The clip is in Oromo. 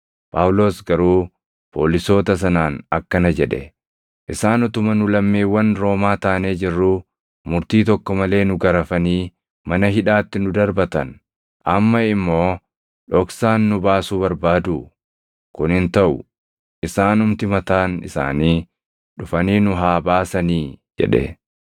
Phaawulos garuu poolisoota sanaan akkana jedhe; “Isaan utuma nu lammiiwwan Roomaa taanee jirruu, murtii tokko malee nu garafanii mana hidhaatti nu darbatan; amma immoo dhoksaan nu baasuu barbaaduu? Kun hin taʼu! Isaanumti mataan isaanii dhufanii nu haa baasanii!” jedhe.